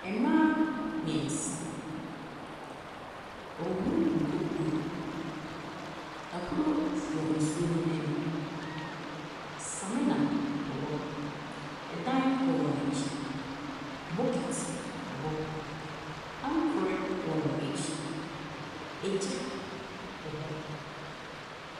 Mmaa mmeɛnsa, wɔrehohoro nkukuo. Ahuro wɔ nsuo no ani. Samena wɔ hɔ. Ɛdan wɔ wɔn akyi. Bokiti wɔ hɔ. Ankorɛ wɔ wɔn akyi. Egya wɔ hɔ.